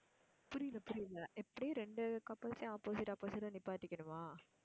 புரியல, புரியல எப்படி ரெண்டு couples அயும் opposite, opposite ஆ நிப்பாட்டிக்கணுமா?